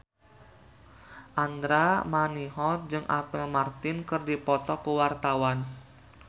Andra Manihot jeung Apple Martin keur dipoto ku wartawan